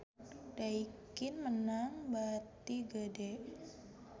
Daikin meunang bati gede